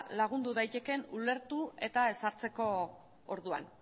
lagundu daitekeen ulertu eta ezartzeko orduan